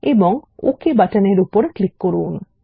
এবং ওক বাটনের উপর ক্লিক করুন